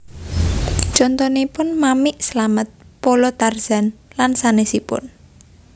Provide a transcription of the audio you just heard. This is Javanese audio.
Contonipun Mamik Slamet Polo Tarzan lan sanesipun